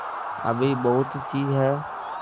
अभी बहुतसी हैं